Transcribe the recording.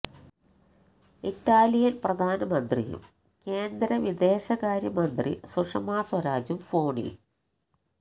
Italian പ്രധാനമന്ത്രിയും കേന്ദ്ര വിദേശകാര്യ മന്ത്രി സുഷമ സ്വരാജും ഫോണിൽ